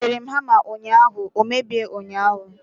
Egoterem hama ụnyaahụ, o mebie ụnyaahụ